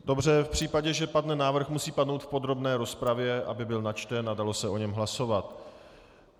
Dobře, v případě, že padne návrh, musí padnout v podrobné rozpravě, aby byl načten a dalo se o něm hlasovat.